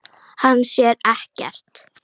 Hann sér ekkert.